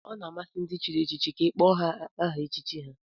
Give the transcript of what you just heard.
Ọ na-amasị ndị chịrị echichi ma ị kpọọ ha aha echichi ha